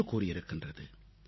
என்று கூறியிருக்கின்றது